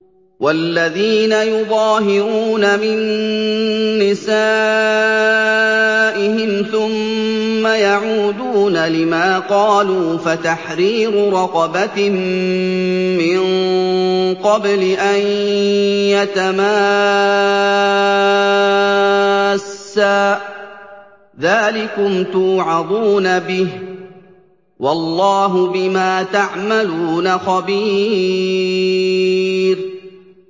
وَالَّذِينَ يُظَاهِرُونَ مِن نِّسَائِهِمْ ثُمَّ يَعُودُونَ لِمَا قَالُوا فَتَحْرِيرُ رَقَبَةٍ مِّن قَبْلِ أَن يَتَمَاسَّا ۚ ذَٰلِكُمْ تُوعَظُونَ بِهِ ۚ وَاللَّهُ بِمَا تَعْمَلُونَ خَبِيرٌ